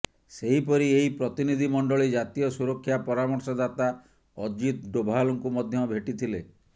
ସେହିପରି ଏହି ପ୍ରତିନିଧି ମଣ୍ଡଳୀ ଜାତୀୟ ସୁରକ୍ଷା ପରାମର୍ଶଦାତା ଅଜିତ ଡୋଭାଲଙ୍କୁ ମଧ୍ୟ ଭେଟିଥିଲେ